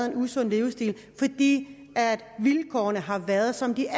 en usund livsstil fordi vilkårene har været som de